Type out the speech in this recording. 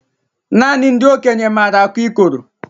Nanị ndị okenye maara akụ ikoro